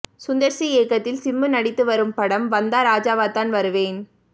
Sundar C இயக்கத்தில் சிம்பு நடித்து வரும் படம் வந்தா ராஜாவாதான் வருவேன்